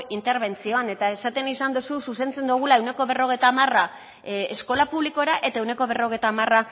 intebertzioan eta esaten izan dozu zuzentzen dogula ehuneko berrogeita hamar eskola publikora eta ehuneko berrogeita hamar